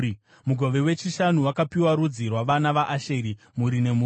Mugove wechishanu wakapiwa rudzi rwavana vaAsheri, mhuri nemhuri.